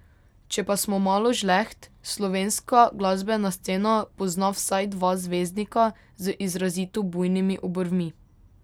Če pa smo malo žleht, slovenska glasbena scena pozna vsaj dva zvezdnika z izrazito bujnimi obrvmi.